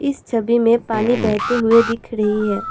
इस छवि में पानी बहते हुए दिख रही है।